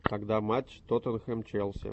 когда матч тоттенхэм челси